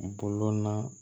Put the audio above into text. Bolon na